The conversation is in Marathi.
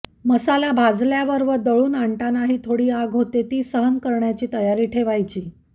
मसाला भाजल्यावर व दळुन आणतानाही थोडी आग होते ती सहन करायची तयारी ठेवायची